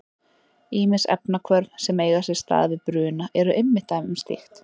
Ýmis efnahvörf sem eiga sér stað við bruna eru einmitt dæmi um slíkt.